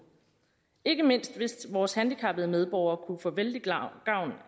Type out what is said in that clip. ikke mindst vil vores handicappede medborgere kunne få vældig gavn